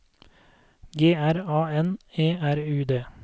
G R A N E R U D